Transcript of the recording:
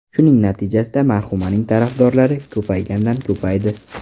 Shuning natijasida marhumaning tarafdorlari ko‘paygandan ko‘paydi.